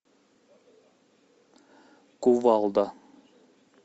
кувалда